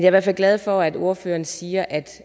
i hvert fald glad for at ordføreren siger at